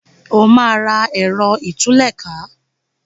o ma rà Ẹ̀rọ ìtúlẹ̀ká!